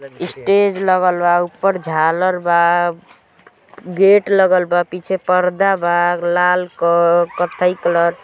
Stage लागल बा ऊपर झालर बा गेट लगाल बा पीछे पर्दा बा लाल क कत्थई कलर ।